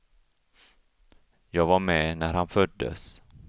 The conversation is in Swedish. Jag var med när han föddes.